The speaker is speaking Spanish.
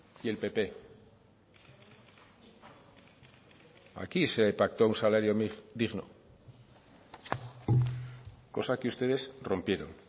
y el pp aquí se pactó un salario digno cosa que ustedes rompieron